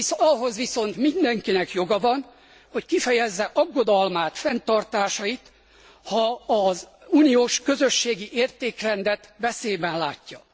Ahhoz viszont mindenkinek joga van, hogy kifejezze aggodalmát, fenntartásait, ha az uniós közösségi értékrendet veszélyben látja.